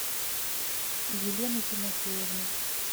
елены тимофеевны